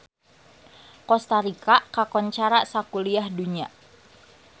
Kosta Rika kakoncara sakuliah dunya